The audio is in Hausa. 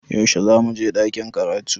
Yaushe zamu je ɗakin karatu?